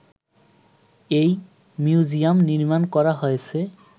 এই মিউজিয়াম নির্মাণ করা হয়েছে